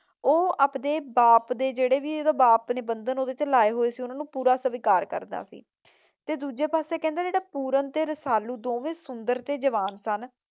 ਉਹ ਆਪ ਦੇ ਬਾਪ ਦੇ ਜਿਹੜੇ ਵੀ ਬੰਧਨ ਉਹਦੇ ਤੇ ਲਾਏ ਸੀ ਉਹਨਾਂ ਨੂੰ ਪੂਰਾ ਸਵੀਕਾਰ ਕਰਦਾ ਤੇ ਦੂਜੇ ਪਾਸੇ ਕਿਹੰਦੇ ਜਿਹੜਾ ਪੁਰਨ ਤੇ ਰਸਾਲੂ ਦੋਨੋ ਸੁੰਦਰ ਤੇ ਜਵਾਨ ਸਨ।